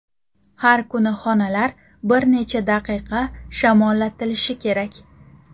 Har kuni xonalar bir necha daqiqa shamollatilishi kerak.